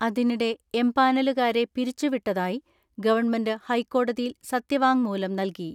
അതിനിടെ എംപാനലുകാരെ പിരിച്ചുവിട്ടതായി ഗവൺമെന്റ് ഹൈക്കോടതിയിൽ സത്യവാങ്മൂലം നൽകി.